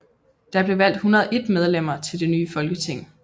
Der blev valgt 101 medlemmer til det nye folketing